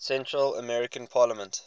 central american parliament